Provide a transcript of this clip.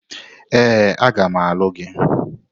Ee, a ga m alụ gị.